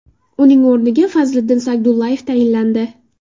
Uning o‘rniga Fazliddin Sagdullayev tayinlandi.